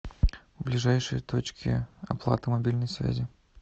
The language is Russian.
ближайшие точки оплаты мобильной связи